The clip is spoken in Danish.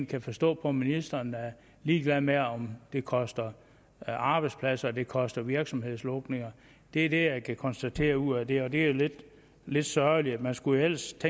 kan forstå at ministeren er ligeglad med om det koster arbejdspladser og det koster virksomhedslukninger det er det jeg kan konstatere ud af det og det er jo lidt sørgeligt man skulle ellers